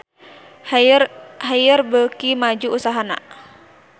Haier beuki maju usahana